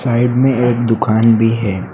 Side में एक दुकान भी है।